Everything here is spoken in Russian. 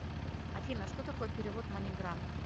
афина что такое перевод маниграм